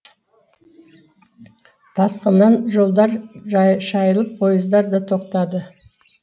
тасқыннан жолдар шайылып пойыздар да тоқтады